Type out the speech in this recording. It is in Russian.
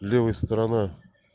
левая сторона